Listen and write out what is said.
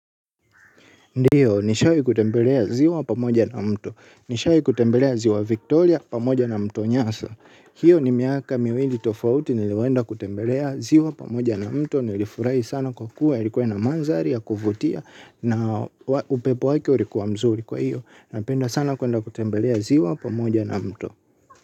Ndiyo nishawi kutembelea ziwa pamoja na mto. Nishawi kutembelea ziwa Victoria pamoja na mto nyasa. Hiyo ni miaka miwili tofauti niliwenda kutembelea ziwa pamoja na mto. Nilifurai sana kwa kuwa yalikuwe na mandari ya kufutia na upepo waki ulikuwa mzuri kwa hiyo. Napenda sana kuenda kutembelea ziwa pamoja na mto.